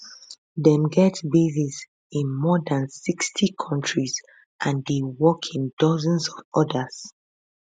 dem get bases in more dan 60 kontris and dey work in dozens of odas